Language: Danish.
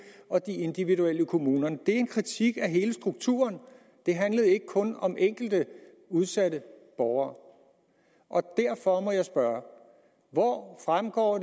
og de individuelle i kommunerne det var en kritik af hele strukturen det handlede ikke kun om enkelte udsatte borgere og derfor må jeg spørge hvor fremgår